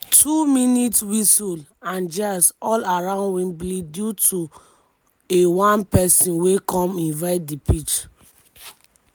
2mins- whistles and jeers all around wembley due to aone pesin wey come invade di pitch.